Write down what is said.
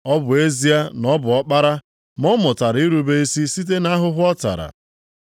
Ọ bụ ezie na ọ bụ Ọkpara ma ọ mụtara irube isi site nʼahụhụ ọ tara.